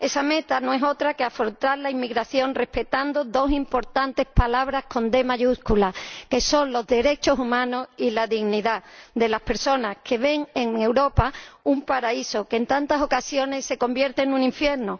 Esa meta no es otra que afrontar la inmigración respetando dos importantes palabras con d mayúscula, que son los derechos humanos y la dignidad de las personas que ven en Europa un paraíso que, en tantas ocasiones, se convierte en un infierno.